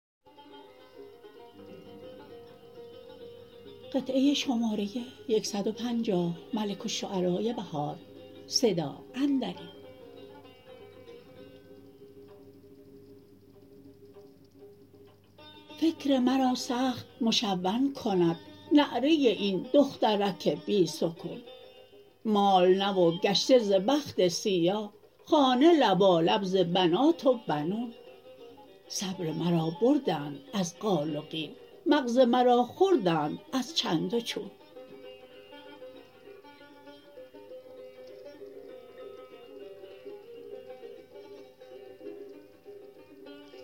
فکر مرا سخت مشون کند نعره این دخترک بی سکون مال نه وگشته ز بخت سیاه خانه لبالب ز بنات و بنون صبر مرا بردند از قال و قیل مغز مرا خوردند از چند و چون